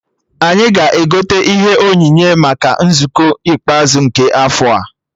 Anyị ga-egote ihe onyinye maka nzukọ ikpeazụ nke afọ a